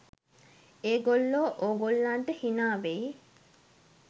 ඒ ගොල්ලෝ ඕගොල්ලන්ට හිනා වෙයි